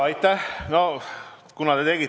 Aitäh!